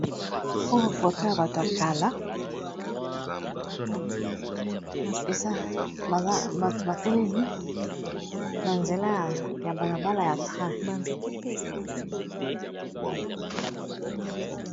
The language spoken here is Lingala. Oyo foto ya bato ya kala, eza bato batelemi na nzela ya balabala ya train.